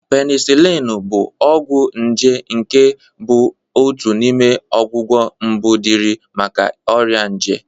Penisilinu bụ ọgwụ nje nke bụ otu n'ime ọgwụgwọ mbụ dị irè maka ọrịa nje.